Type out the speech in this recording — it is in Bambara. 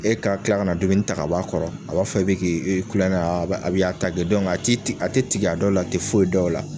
E ka tila kana dumuni ta k'a bɔ a kɔrɔ a b'a fɔ i be k'i i kulɔŋɛ aa a bɛ a b'i a ti ti a te tig'a dɔw l'a te foyi dɔ o la.